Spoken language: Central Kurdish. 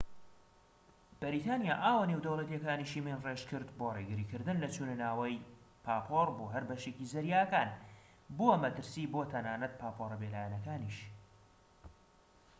بەریتانیا ئاوە نێودەوڵەتیەکانیشی مین ڕێژکرد بۆ ڕێگریکردن لە چونەناوی پاپۆر بۆ هەر بەشێکی زەریاکان بووە مەترسی بۆ تەنانەت پاپۆرە بێ لایەنەکانیش